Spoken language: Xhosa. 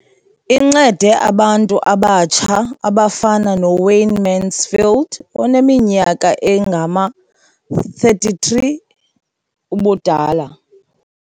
Incede abantu abatsha abafana noWayne Mansfield oneminyaka engama-33 ubudala.